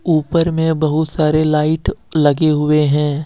ऊपर में बहुत सारे लाइट लगे हुए है।